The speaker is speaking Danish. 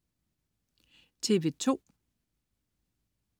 TV2: